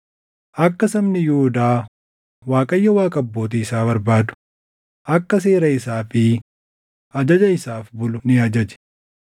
Akka sabni Yihuudaa Waaqayyo Waaqa abbootii isaa barbaadu, akka seera isaa fi ajaja isaaf bulu ni ajaje.